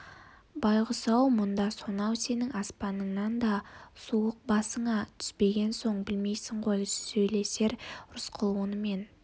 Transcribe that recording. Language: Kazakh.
байғұс-ау мұнда сонау сенің аспаныңнан да суық басыңа түспеген соң білмейсің ғой деп сөйлесер рысқұл онымен